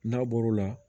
N'a bɔr'o la